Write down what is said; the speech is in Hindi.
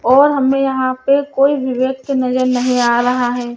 और हमें यहाँ पे कोई भी व्यक्ति नजर नहीं आ रहा है।